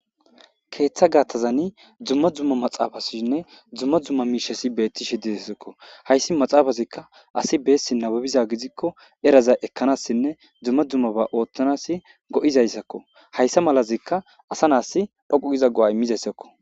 Keththa gaththazanii dumma dumma maxafasinne dumma dumma miishshashi bettishe dessikko hayssi maaxafazikka asi bessi nababbiza gididkko era ekanasinne dumma dumma ba ooththanasinne go'izayssakko hayssa malazikka asa nas dhoqqu giza go'a iimmizayssakko